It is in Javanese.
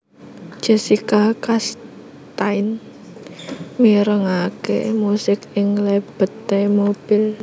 Jessica Chastain mirengake musik ing lebete mobil